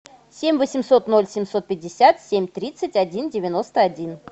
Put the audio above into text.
семь восемьсот ноль семьсот пятьдесят семь тридцать один девяносто один